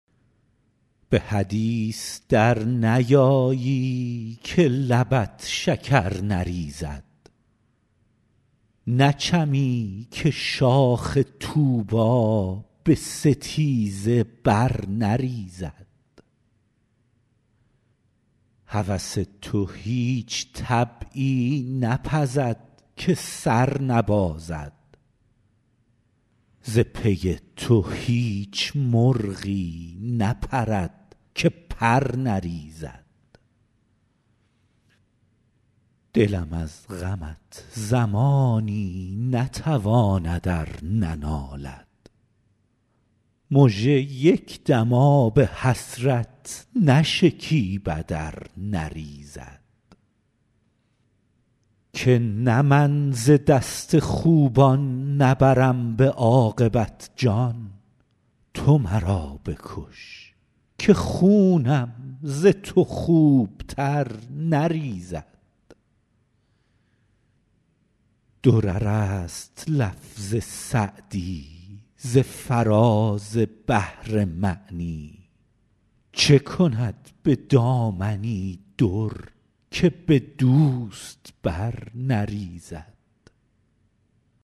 به حدیث در نیایی که لبت شکر نریزد نچمی که شاخ طوبی به ستیزه بر نریزد هوس تو هیچ طبعی نپزد که سر نبازد ز پی تو هیچ مرغی نپرد که پر نریزد دلم از غمت زمانی نتواند ار ننالد مژه یک دم آب حسرت نشکیبد ار نریزد که نه من ز دست خوبان نبرم به عاقبت جان تو مرا بکش که خونم ز تو خوبتر نریزد درر است لفظ سعدی ز فراز بحر معنی چه کند به دامنی در که به دوست بر نریزد